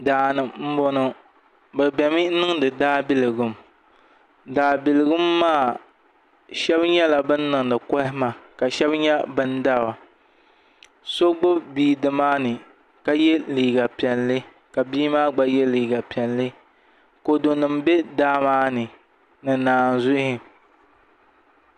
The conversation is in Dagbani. Daani n boŋo bi biɛni mi niŋdi daabiligu daabiligu maa shab nyɛla bin niŋdi kohamma ka shab nyɛ bin dara so gbubi bia nimaani ka yɛ liiga piɛlli ka bia maa gba yɛ liiga piɛlli kodu nim bɛ daa maa ni ni naanzuhi